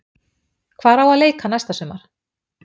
Hvar á að leika næsta sumar?